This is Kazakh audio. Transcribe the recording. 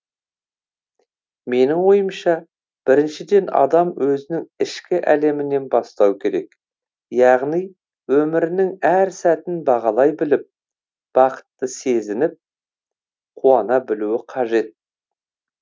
менің ойымша біріншіден адам өзінің ішкі әлемінен бастау керек яғни өмірінің әр сәтін бағалай біліп бақытты сезініп қуана білуі қажет